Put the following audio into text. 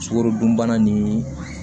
Sukarodunbana nin